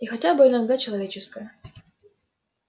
и хотя бы иногда человеческая